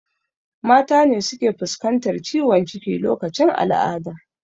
Mata ne suke fuskantar ciwon ciki lokacin al'ada